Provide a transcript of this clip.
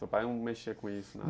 Seu pai não mexia com isso?